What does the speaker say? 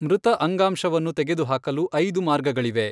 ಮೃತ ಅಂಗಾಂಶವನ್ನು ತೆಗೆದುಹಾಕಲು ಐದು ಮಾರ್ಗಗಳಿವೆ.